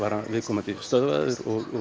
viðkomandi stöðvaður